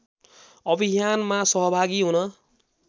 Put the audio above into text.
अभियानमा सहभागी हुन